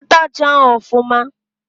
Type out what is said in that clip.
Nyekwa attachị ahụ ọfụma!